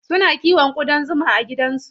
Suna kiwon ƙudan zuma a gidansu.